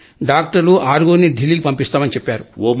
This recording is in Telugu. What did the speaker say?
డాక్టర్లు ఆరుగురిని ఢిల్లీకి పంపిస్తామని చెప్పారు